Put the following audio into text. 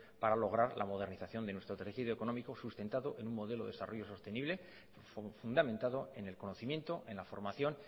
para lograr la modernización de nuestro tejido económico sustentado en un modelo de desarrollo sostenible y fundamentado en el conocimiento en la formación